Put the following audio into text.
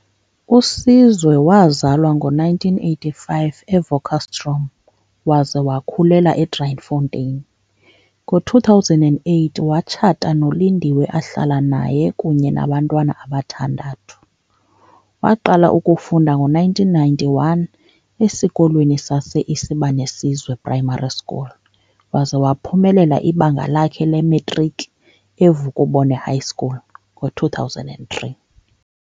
USizwe wazalwa ngo-1985 eWakkerstroom waze wakhulela eDriefontein. Ngo-2008 watshata noLindiwe ahlala naye kunye nabantwana abathandathu. Waqala ukufunda ngo-1991 esikolweni sase-Isibanisezwe Primary School waze waphumelela ibanga lakhe lematriki eVukubone High School ngo-2003.